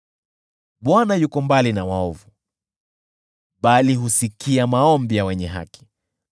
Bwana yuko mbali na waovu, bali husikia maombi ya wenye haki.